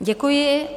Děkuji.